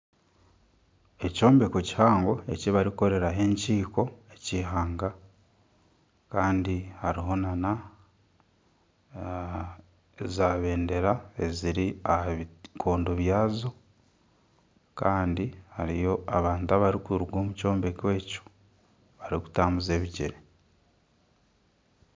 Ekyombeko kihango eki barikukoreraho enkiiko ekihanga kandi hariho nana zabendera, ziri aha bikondo byazo kandi hariyo abantu abarikuruga omu kyombeko ekyo barikutambuza ebigyere.